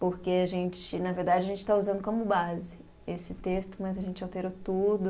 Porque a gente, na verdade, a gente está usando como base esse texto, mas a gente alterou tudo.